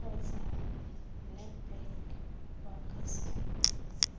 kgotsa nedbank ba ka se